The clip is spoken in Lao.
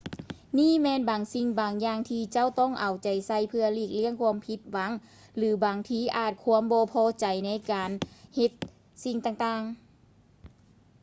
ນີ້ແມ່ນບາງສິ່ງບາງຢ່າງທີເຈົ້າຕ້ອງເອົາໃຈໃສ່ ເພື່ອຫຼີກລ້ຽງຄວາມຜິດຫວັງ ຫຼື ບາງທີອາດຄວາມບໍ່ພໍໃຈໃນການເຮັດສິ່ງຕ່າງໆ